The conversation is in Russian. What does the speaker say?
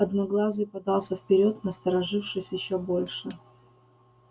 одноглазый подался вперёд насторожившись ещё больше